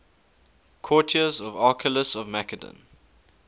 courtiers of archelaus of macedon